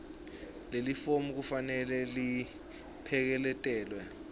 lelifomu kufanele lipheleketelwe